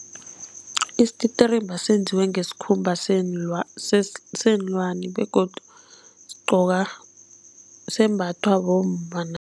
Isititirimba senziwe ngesikhumba seenlwani begodu sigqokwa sembathwa bomma